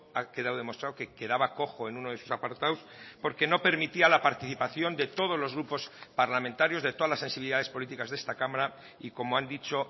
ha quedado demostrado que quedaba cojo en uno de sus apartados porque no permitía la participación de todos los grupos parlamentarios de todas las sensibilidades políticas de esta cámara y como han dicho